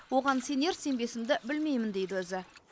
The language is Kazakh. оған сенер сенбесімді білмеймін дейді өзі